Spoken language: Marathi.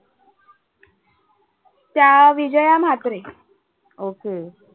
त्या विजया म्हात्रे.